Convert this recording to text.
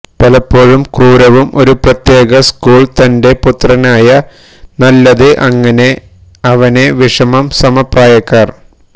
പലപ്പോഴും ക്രൂരവും ഒരു പ്രത്യേക സ്കൂൾ തന്റെ പുത്രനായ നല്ലത് അങ്ങനെ അവനെ വിഷമം സമപ്രായക്കാർ